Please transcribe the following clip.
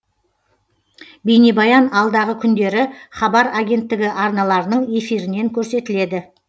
бейнебаян алдағы күндері хабар агенттігі арналарының эфирінен көрсетіледі